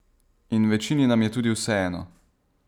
In večini nam je tudi vseeno.